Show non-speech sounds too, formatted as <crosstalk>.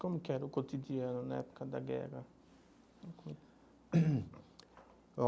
Como que era o cotidiano na época da guerra? <coughs>